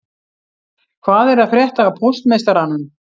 Hvað er að frétta af póstmeistaranum